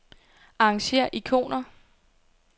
Arrangér ikoner.